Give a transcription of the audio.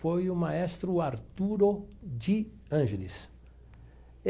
Foi o maestro Arturo de Angeles.